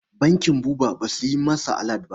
Bankin Buba ba su yi masa alat ba.